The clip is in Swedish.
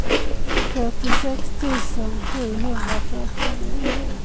fyrtiosex tusen sjuhundrafyrtionio